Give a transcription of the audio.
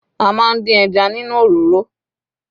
A máa ń dín ẹja nínú òroró